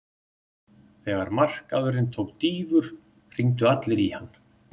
Þegar markaðurinn tók dýfur hringdu allir í hann.